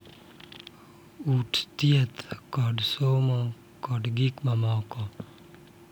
Udi, thieth, kod somo, kod gik mamoko.